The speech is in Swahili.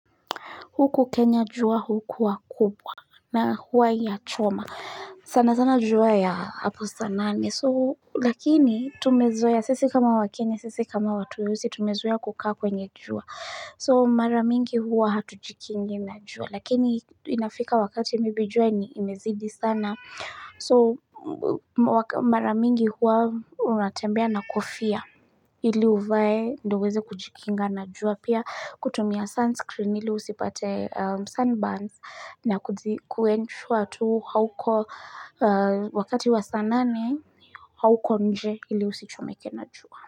Huku Kenya jua, hukua kubwa na hua yachoma. Sana sana jua ya hapo saa nane. So lakini tumezoea sisi kama wakenya, sisi kama watu weusi, tumezoea kukaa kwenye jua. So mara mingi hua hatujikingi na jua. Lakini inafika wakati maybe jua ni imezidi sana. So mara mingi hua unatembea na kofia. Ili uvae ndio uweze kujikinga na jua pia kutumia sunscreen ili usipate sunburns na kuensure tu hauko wakati wa sa nane hauko nje ili usichomeke na jua.